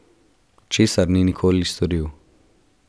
Česar ni nikoli storil.